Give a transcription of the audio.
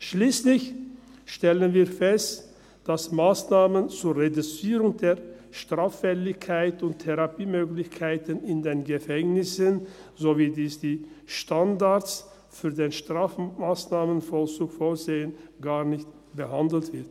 Schliesslich stellen wir fest, dass Massnahmen zur Reduzierung der Straffälligkeit und die Therapiemöglichkeiten in den Gefängnissen, so wie dies die Standards für den Strafmassnahmenvollzug vorsehen, gar nicht behandelt werden.